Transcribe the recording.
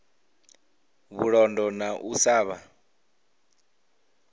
vhulondo na u sa vha